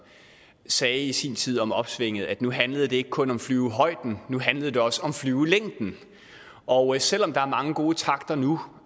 sagde i sin tid om opsvinget at nu handlede det ikke kun om flyvehøjden nu handlede det også om flyvelængden og selv om der er mange gode takter nu